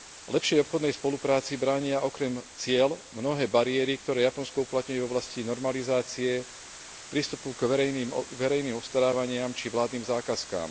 Lepšej obchodnej spolupráci bránia okrem ciel mnohé bariéry, ktoré Japonsko uplatňuje v oblasti normalizácie, prístupu k verejným obstarávaniam či vládnym zákazkám.